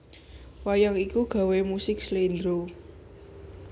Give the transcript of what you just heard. Wayang iki gawé musik Slendro